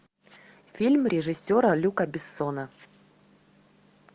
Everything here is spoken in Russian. фильм режиссера люка бессона